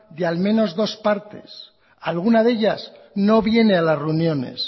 de al menos dos partes alguna de ellas no viene a las reuniones